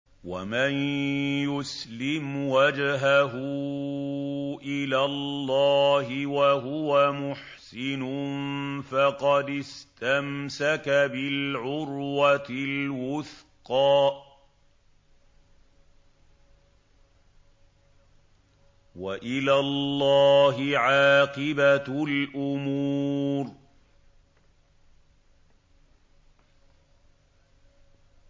۞ وَمَن يُسْلِمْ وَجْهَهُ إِلَى اللَّهِ وَهُوَ مُحْسِنٌ فَقَدِ اسْتَمْسَكَ بِالْعُرْوَةِ الْوُثْقَىٰ ۗ وَإِلَى اللَّهِ عَاقِبَةُ الْأُمُورِ